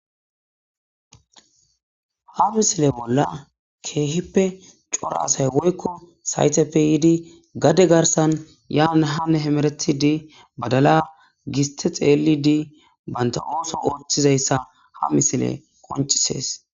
Ha misile bolla keehippe cora asay woykko sayteppe yiidi gade garsan yaane haane hemeretidi badala, giste xeelidi banta ooso ooththizaysa ha misiley qoncises.